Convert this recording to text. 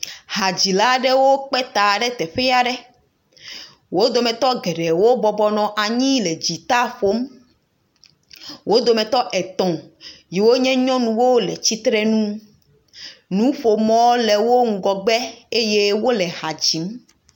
Hadzilawo kpeta ɖe teƒe aɖe wodometɔ geɖewo bɔbɔ nɔ anyi le dzita ƒom wodometɔ etɔ yiwo nye nyɔnuwo le titrenu nuƒomɔwo le wo ŋgɔgbe eye wole hadzim